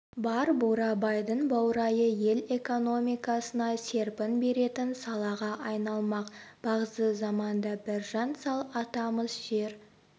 бар бурабайдың баурайы ел экономикасына серпін беретін салаға айналмақ бағзы заманда біржан сал атамыз жер